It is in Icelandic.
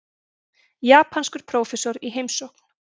Japanskur prófessor í heimsókn.